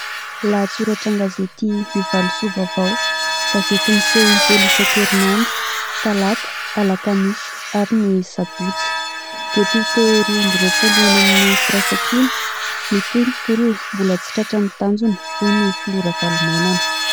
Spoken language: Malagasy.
Lahatsoratra an-gazety Ny Valosoa Vaovao, gazety miseho in-telo isankerin'andro : talata Alakamisy ary ny Sabotsy. Depiote roa amby roapolo ho any amin'ny firaIsankina, mitohy ny tolona, mbola tsy tratra ny tanjona hoy ny filoha Ravalomanana.